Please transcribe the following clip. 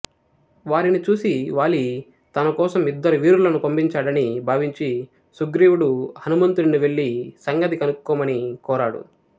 వారిని చూసి వాలి తనకోసం ఇద్దరు వీరులను పంపించాడని భావించి సుగ్రీవుడు హనుమంతుడిని వెళ్ళి సంగతి కనుక్కోమని కోరాడు